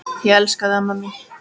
Ég elska þig amma mín.